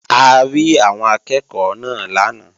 A rí àwọn akẹ́ẹ̀kọ́ náà lánàá